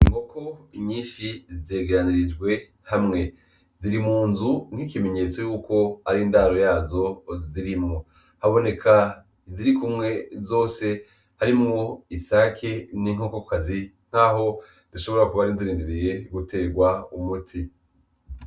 Inkoko nyinshi zegeranirijwe hamwe. Ziri mu nzu nk'ikimenyetso y'uko ari indaro yazo zirimwo. Haboneka izirikumwe zose harimwo isake n'inkokokazi nk'aho zishobora kuba zirindiriye gutegwa umuti.